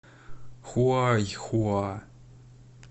хуайхуа